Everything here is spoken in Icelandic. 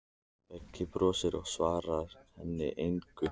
Beggi brosir, en svarar henni engu.